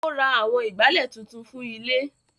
Ó ra àwọn Ìgbálẹ́ tuntun fún ilé